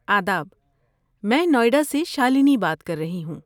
آداب۔ میں نوئیڈا سے شالنی بات کر رہی ہوں۔